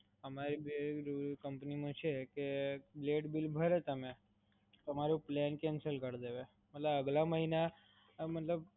અમારી કંપની માં છે કે, લેટ બિલ ભરો તમે, તમારું પ્લાન કેન્સલ કરી દે. મતલબ આગલા મહિને